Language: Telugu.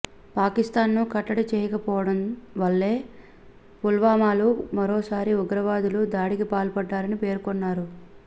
పాకిస్తాన్ను కట్టడి చేయకపోవడం వల్లే పుల్వామాలో మరోసారి ఉగ్రవాదులు దాడికి పాల్పడ్డారని పేర్కొన్నారు